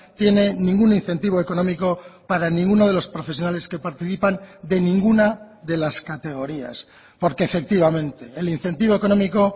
tiene ningún incentivo económico para ninguno de los profesionales que participan de ninguna de las categorías porque efectivamente el incentivo económico